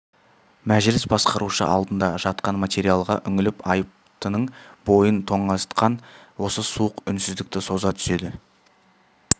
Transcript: мәжіліс басқарушы алдында жатқан материалға үңіліп айыптының бойын тоңазытқан осы суық үнсіздікті соза түседі